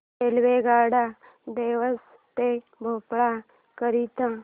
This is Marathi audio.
रेल्वेगाड्या देवास ते भोपाळ करीता